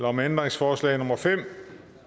om ændringsforslag nummer fem